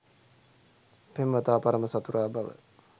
පෙම්වතා පරම සතුරා බව